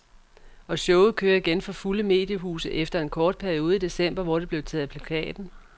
Og showet kører igen for fulde mediehuse efter en kort periode i december, hvor det blev taget af plakaten.